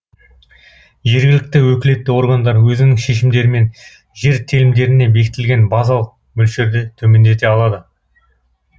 жергілікті өкілетті органдар өзінің шешімдерімен жер телімдеріне бекітілген базалық мөлшерді төмендете алады